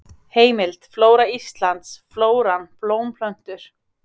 Heimild: Flóra Íslands: Flóran: Blómplöntur.